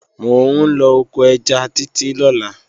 Mò ń lọ oko ẹja Títí lọ́la